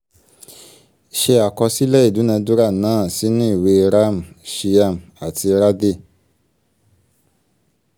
ṣé àkọsílẹ̀ ìdúnadúrà náà sínú ìwé ram shyam àti radhey